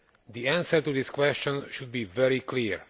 The answer to this question should be very clear.